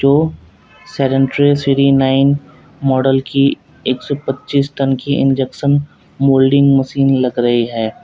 दो three nine model की एक सौ पच्चीस टन की इंजेक्शन मोल्डिंग मशीन लग रही है।